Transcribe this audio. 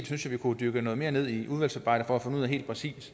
synes at vi må dykke noget mere ned i det i udvalgsarbejdet for helt præcis